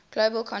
global conflicts